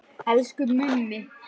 Elsku Mummi.